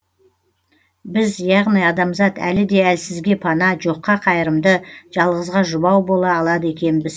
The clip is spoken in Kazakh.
біз яғни адамзат әлі де әлсізге пана жоққа қайырымды жалғызға жұбау бола алады екенбіз